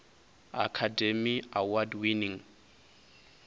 academy award winning